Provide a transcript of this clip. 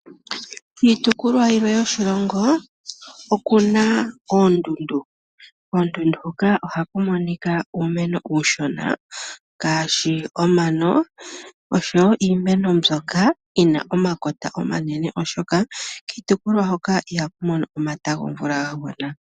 Kiitopolwa yilwe yoshilongo oku na oondundu. Koondundu hoka ohaku monika uumeno uushona ngaashi omano osho wo iimeno mbyoka yi na omakota omanene, oshoka kiitopolwa hoka ihaku mono omata gomvula ga gwana.